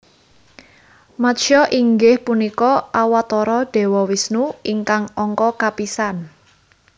Matsya inggih punika Awatara Dewa Wisnu ingkang angka kapisan